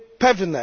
pewne.